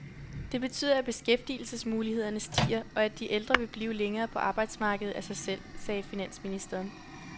Det betyder, at beskæftigelsesmulighederne stiger, og at de ældre vil blive længere på arbejdsmarkedet af sig selv, sagde finansministeren.